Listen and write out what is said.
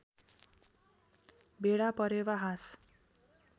भेडा परेवा हाँस